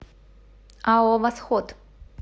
ао восход